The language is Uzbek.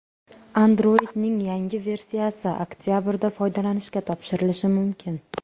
Android’ning yangi versiyasi oktabrda foydalanishga topshirilishi mumkin.